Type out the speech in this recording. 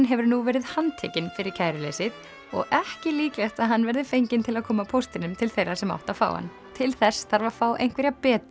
hefur nú verið handtekinn fyrir kæruleysið og ekki líklegt að hann verði fenginn til að koma póstinum til þeirra sem áttu að fá hann til þess þarf að fá einhverja betri